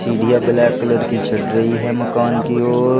सीढ़ियां black colour की चढ़ रही हैं मकान की ओर।